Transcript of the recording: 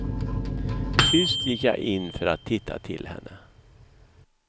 Tyst gick jag in för att titta till henne.